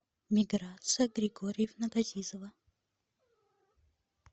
миграция григорьевна газизова